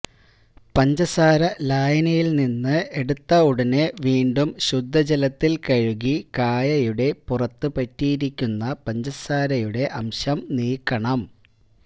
പഞ്ചസാരലായനിയില്നിന്ന് എടുത്ത ഉടനെ വീണ്ടും ശുദ്ധജലത്തില് കഴുകി കായയുടെ പുറത്ത് പറ്റിയിരിക്കുന്ന പഞ്ചസാരയുടെ അംശം നീക്കണം